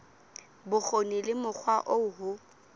bokgoni le mokgwa oo ho